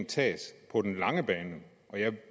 tages på den lange bane